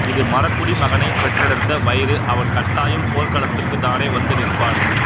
இது மறக்குடி மகனைப் பெற்றெடுத்த வயிறு அவன் கட்டாயம் போர்களத்துக்குத் தானே வந்து நிற்பான்